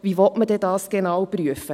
Wie will man dies dann genau prüfen.